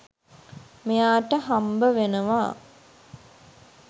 මෙයාට හම්බවෙනවා.